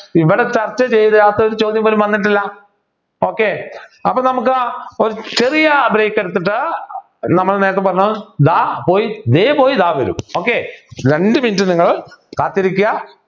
ഇവിടെ ചർച്ച ചെയ്യാത്ത ഒരു ചോദ്യം പോലും വന്നിട്ടില്ല okay അപ്പോൾ നമുക്ക് ഒരു ചെറിയ break എടുത്തിട്ട് നമ്മൾ നേരത്തെ പറഞ്ഞ ദാ പോയി ദേ പോയി ദാ വരൂ okay രണ്ടു minute നിങ്ങൾ കാത്തിരിക്കുക